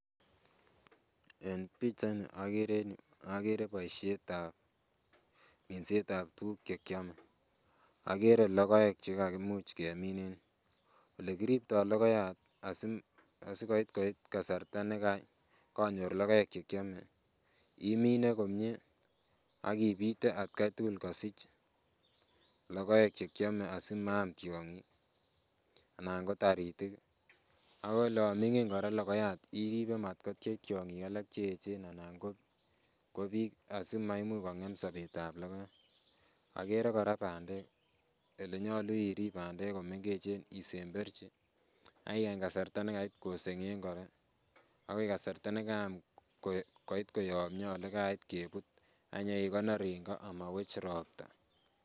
En pichait ni okere en yuu okere boisietab minset ab tuguk chekiome, okere logoek chekakimuch kemin en yuu. Olekiriptoo logoyayat asikoit koit kasarta ne kanyor logoek chekiome imine komie ak ibite atkai tugul kosich logoek chekiome asimaam tiong'ik anan ko taritik ako olan ming'in kora logoyayat iribe matkotyech tiong'ik alak cheechen anan ko biik asimaimuch kong'em sobetab logoyayat. Okere kora bandek elenyolu irib bandek isemberchi ak ikany kasarta nekait koseng'eng koron akoi kasarta nekaam koit koyomyo olekait kebut ak inyekonor en go amowech ropta